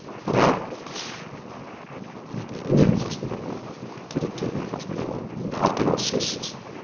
бірақ енді үнемі қасында болады керек кезінде қасында болады енді артық ауыз сөзсіз